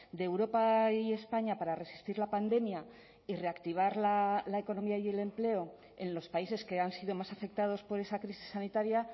de europa y españa para resistir la pandemia y reactivar la economía y el empleo en los países que han sido más afectados por esa crisis sanitaria